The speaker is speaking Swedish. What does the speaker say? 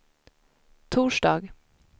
torsdag